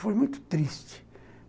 Foi muito triste.